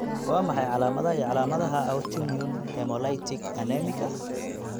Waa maxay calaamadaha iyo calaamadaha Autoimmune hemolytic anemika?